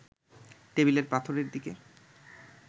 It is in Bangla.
টেবিলের পাথরের দিকে